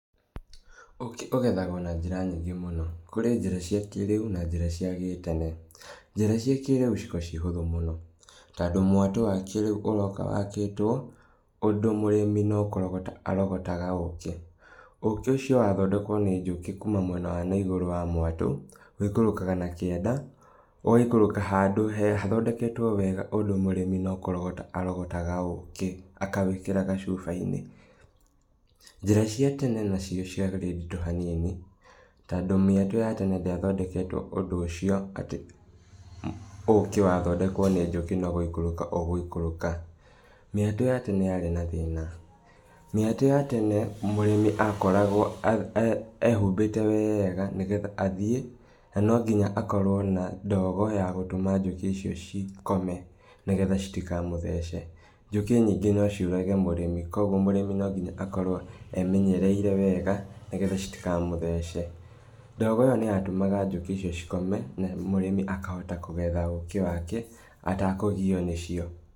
Ũkĩ ũgethagwo na njĩra nyingĩ mũno. Kũrĩ njĩra cia kĩrĩu na njĩra cia gĩtene. Njĩra cia kĩrĩũ cikoragwo ciĩ hũthũ mũno, tondũ mwatũ wa kĩrĩũ ũroka wakĩtwo, ũndũ mũrĩmi no kũrogota arogotaga ũkĩ. Ũkĩ ũcio wathondekwo nĩ njũkĩ kuma mwena wa naigũrũ wa mwatũ, wĩikũrakaga na kianda, ũgaikũrũka handũ he hathondeketwo wega ũndũ mũrĩmi no kũrogota arogotaga ũkĩ, akawĩkĩra gacubainĩ. Njĩra cia tene nacio ciarĩ nditũ hanini, tondũ mĩatũ ya tene ndĩathondeketwo ũndũ ũcio atĩ ũkĩ wa thondekwo nĩ njukĩ no gũikũrũka ũgũikũrũka. Mĩatũ ya tene yarĩ na thĩna. Mĩatũ ya tene mũrĩmĩ akoragwo a a ehumbĩte wega nĩgetha athiĩ, na nonginya akorwo na ndogo ya gũtũma njũkĩ icio cikome, nĩgetha citikamũthece. Njũkĩ nyingĩ no ciũrage mũrimĩ koguo mũrĩmi nonginya akoragwo e menyereire wega nĩgetha citikamũthece. Ndogo ĩyo nĩyatũmaga njũkĩ icio cikome, na mũrĩmi akahota kũgetetha ũkĩ wake, atakũgio nĩcio.